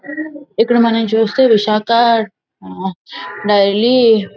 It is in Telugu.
ఇక్కడ మనము చూస్తుటే విశాఖ ఆ డైరీ